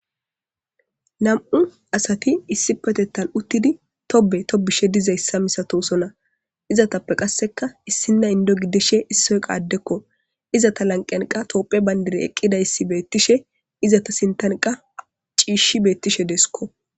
Nam'u asati issippetethan utid Tobe tobetishe dizaysa masatosona , izetappe qaseka issina Indo gidishe issoy qas Adeko , izeta lanqen qas tophiya bandirey eqidays betishe izeta sintani ciish betishe desko.